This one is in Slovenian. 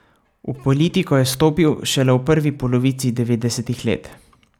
V politiko je stopil šele v prvi polovici devetdesetih let.